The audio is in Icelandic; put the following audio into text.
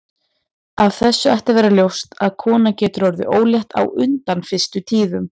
Af þessu ætti að vera ljóst að kona getur orðið ólétt á undan fyrstu tíðum.